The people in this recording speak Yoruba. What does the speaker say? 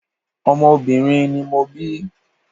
Ọmọ obìnrin ni mo bí.